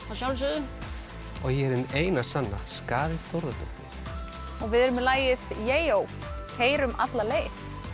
að sjálfsögðu og ég er hin eina sanna skaði Þórðardóttir og við erum með lagið Jeijó keyrum alla leið